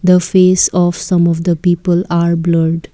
the face of some of the people are blurred.